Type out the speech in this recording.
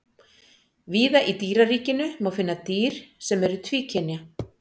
víða í dýraríkinu má finna dýr sem eru tvíkynja